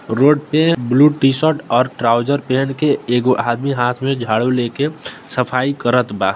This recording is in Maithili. रोड पे ब्लू टीशर्ट और ट्राउजर पहन के एगो आदमी हाथ में झाड़ू लेकर सफाई करत बा।